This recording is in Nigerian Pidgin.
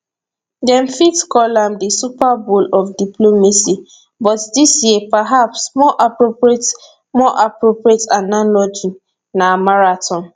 dem fit call am di super bowl of diplomacy but dis year perhaps more appropriate more appropriate analogy na marathon